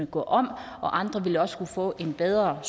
gå om og andre vil også kunne få en bedre